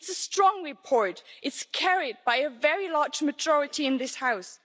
It is a strong report, carried by a very large majority in this House.